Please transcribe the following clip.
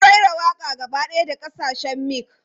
Mun raira waƙa gaba ɗaya da kasashen mic.